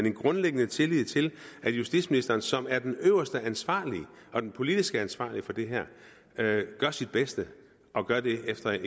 en grundlæggende tillid til at justitsministeren som er den øverste ansvarlige og den politiske ansvarlige for det her gør sit bedste og gør det efter